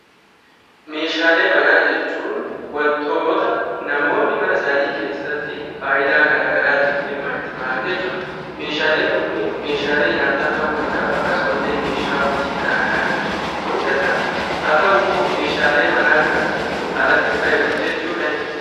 Meeshaalee manaa jechuun wantoota namoonni mana isaanii keessatti faayidaa garaa garaatiif dhimma itti ba'an jechuudha. Meeshaalee kunniin meeshaalee nyaataa ta'uu danda'a akkasuma illee meeshaa hojiin garaa garaa itti hojjetamu ta'uu danda'a. Haa ta'u immoo meeshaalee manaa kana alatti hin fayyadamnu jechuudha?